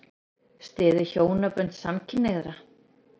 Styður hjónabönd samkynhneigðra